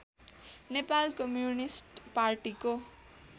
Nepal communist पार्टीको